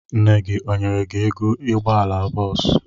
Nne gị ọ nyere gi ego ụgbọala bọọsụ?